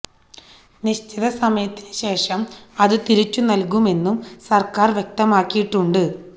നിശ്ചിത സമയത്തിന് ശേഷം അതു തിരിച്ചു നൽകുമെന്നും സർക്കാർ വ്യക്തമാക്കിയിട്ടുണ്ട്